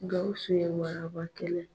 Gawusu ye waraba kɛlɛ.